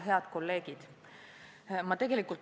Head kolleegid!